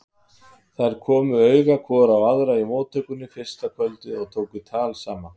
Þær komu auga hvor á aðra í móttöku fyrsta kvöldið og tóku tal saman.